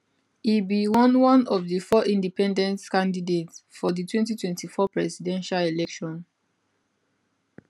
e be one one of di four independent candidates for di 2024 presidential election